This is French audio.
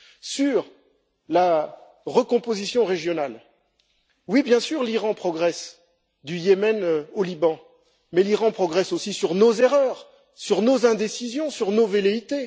Sur la recomposition régionale, oui, bien sûr, l'Iran progresse du Yémen au Liban, mais l'Iran progresse aussi sur nos erreurs, sur nos indécisions et sur nos velléités.